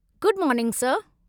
Good morning sir.